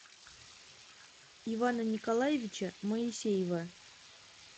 ивана николаевича моисеева